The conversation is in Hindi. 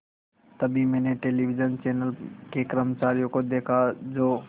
तभी मैंने टेलिविज़न चैनल के कर्मचारियों को देखा जो